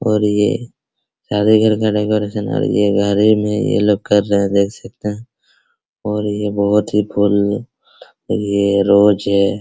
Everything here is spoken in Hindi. और ये ये लोग कर रहे हैं देख सकते हैं और ये बहुत ही फूल और यह रोज है।